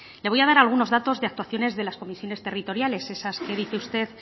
le voy a dar algunos datos de actuaciones de las comisiones territoriales esas que dice usted